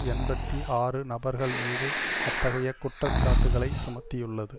எண்பத்தி ஆறு நபர்கள் மீது அத்தகைய குற்றச்சாட்டுக்களை சுமத்தியுள்ளது